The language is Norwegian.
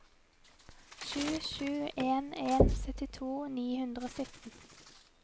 sju sju en en syttito ni hundre og sytten